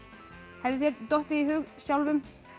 hefði þér dottið í hug sjálfum